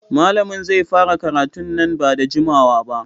Malamin zai fara karatun nan ba da jimawa ba.